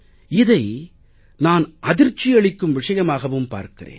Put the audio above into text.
இதை நான் அதிர்ச்சியளிக்கும் விஷயமாகவும் பார்க்கிறேன்